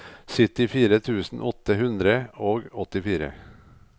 syttifire tusen åtte hundre og åttifire